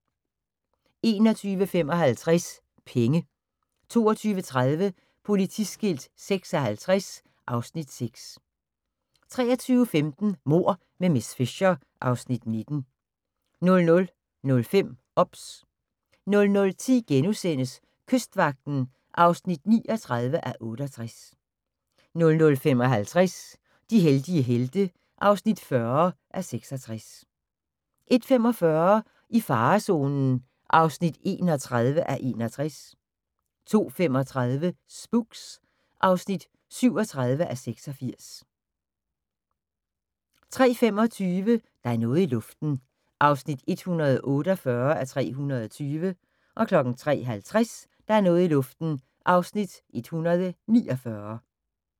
21:55: Penge 22:30: Politiskilt 56 (Afs. 6) 23:15: Mord med miss Fisher (Afs. 19) 00:05: OBS 00:10: Kystvagten (39:68)* 00:55: De heldige helte (40:66) 01:45: I farezonen (31:61) 02:35: Spooks (37:86) 03:25: Der er noget i luften (148:320) 03:50: Der er noget i luften (149:320)